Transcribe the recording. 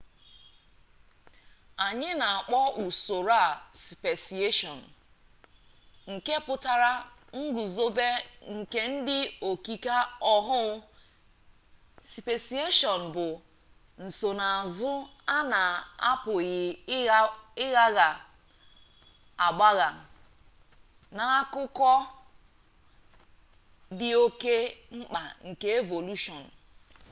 anyi na-akpọ usoro a speciation nke pụtara nguzobe nke ụdị okike ọhụụ speciation bụ nsonaazụ a na-apụghị ịgbagha agbagha na akụkụ dị oke mkpa nke evolushọn